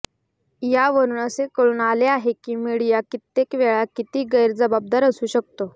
यावरून असे कळून आले आहे की मीडिया कित्येकवेळा किती गैर जबाबदार असू शकतो